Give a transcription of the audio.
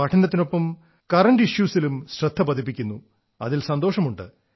പഠനത്തിനൊപ്പം current issues ലും ശ്രദ്ധ പതിപ്പിക്കുന്നു എന്നതിൽ സന്തോഷമുണ്ട്